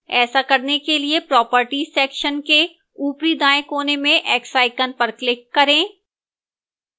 ऐसा करने के लिए properties section के ऊपरी दाएं कोने में x पर click करें